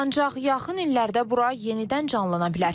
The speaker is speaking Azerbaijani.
Ancaq yaxın illərdə bura yenidən canlana bilər.